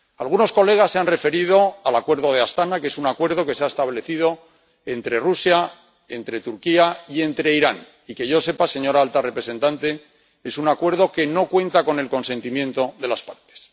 Algunos colegas se han referido al Acuerdo de Astaná, que es un acuerdo que se ha establecido entre Rusia, entre Turquía y entre Irán y, que yo sepa, señora alta representante, es un acuerdo que no cuenta con el consentimiento de las partes.